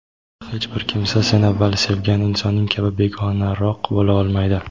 "Hech bir kimsa sen avval sevgan insoning kabi begonaroq bo‘la olmaydi.".